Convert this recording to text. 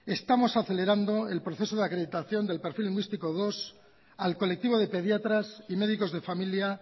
estamos acelerando el proceso de acreditación del perfil lingüístico segundo al colectivo de pediatras y médicos de familia